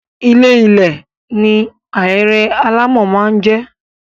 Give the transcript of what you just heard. Ilé -ilẹ̀ ni ahéré alámọ̀ máa ń jẹ́.